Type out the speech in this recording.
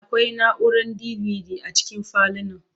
Akwai na'urar DVD a cikin falunan.